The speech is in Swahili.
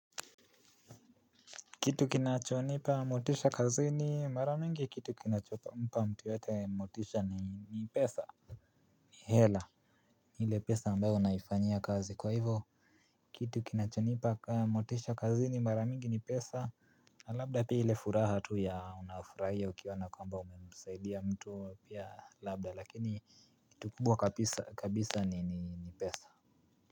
Kitu kinachonipa motisha kazini mara mingi kitu kinachonipa mtu yoyote motisha ni pesa. Hela ile pesa ambayo naifanya kazi kwa hivo. Kitu kinachonipa motisha kazini mara mingi ni pesa. Labda pili furaha tu ya unafurahia ukiona kwamba umemsaidia mtu pia labda lakini kitu kubwa kabisa ni pesa.